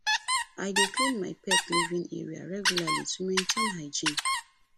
i dey clean my pet living area regularly to maintain hygiene